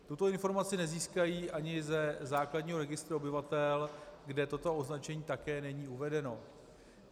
Tuto informaci nezískají ani ze základního registru obyvatel, kde toto označení také není uvedeno.